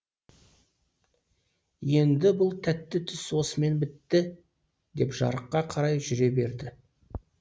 енді бұл тәтті түс осымен бітті деп жарыққа қарай жүре берді